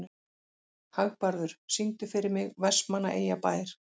Hagbarður, syngdu fyrir mig „Vestmannaeyjabær“.